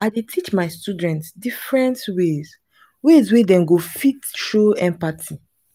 i dey teach my students different ways ways wey dem go fit show empathy. um